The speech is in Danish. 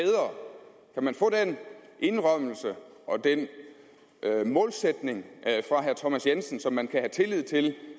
nu man få den indrømmelse og den målsætning fra herre thomas jensen så man kan have tillid til